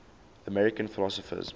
american philosophers